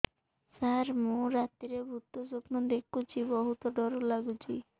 ସାର ମୁ ରାତିରେ ଭୁତ ସ୍ୱପ୍ନ ଦେଖୁଚି ବହୁତ ଡର ଲାଗୁଚି